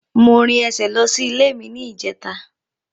Mo rìn ẹsẹ̀ lọ sí ilé ní ìjẹta